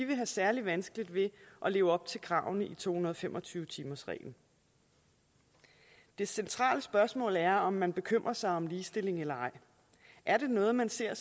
vil have særlig vanskeligt ved at leve op til kravene i to hundrede og fem og tyve timersreglen det centrale spørgsmål er om man bekymrer sig om ligestilling eller ej er det noget man ser